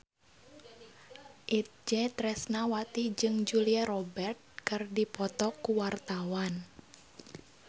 Itje Tresnawati jeung Julia Robert keur dipoto ku wartawan